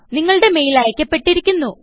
നിങ്ങളുടെ മെയിൽ അയ്ക്കപ്പെട്ടിരിക്കുന്നു